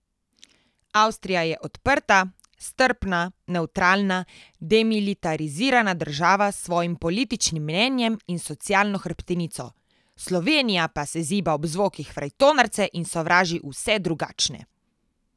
Avstrija je odprta, strpna, nevtralna, demilitarizirana država s svojim političnim mnenjem in socialno hrbtenico, Slovenija pa se ziba ob zvokih frajtonarce in sovraži vse drugačne.